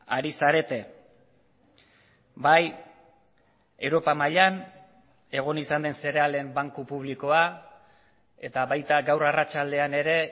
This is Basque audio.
ari zarete bai europa mailan egon izan den zerealen banku publikoa eta baita gaur arratsaldean ere